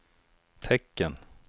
tecken